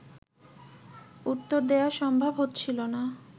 উত্তর দেয়া সম্ভব হচ্ছিল না